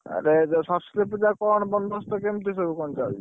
ଆରେ ଯୋଉ ସରସ୍ୱତୀ ପୂଜା କଣ ସବୁ ବନ୍ଦବସ୍ତ କେମିତିସବୁ କଣ ଚାଲିଛି?